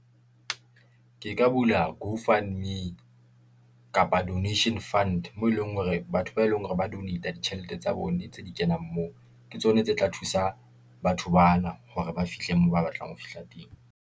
Ke ka bula go fund me , kapa donation fund, moo eleng hore batho ba eleng hore ba donate, ditjhelete tsa bona tse di kenang moo. Ke tsona tse tla thusa batho bana hore ba fihle moo ba batlang ho fihla teng.